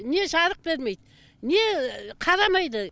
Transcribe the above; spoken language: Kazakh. не жарық бермейді не қарамайды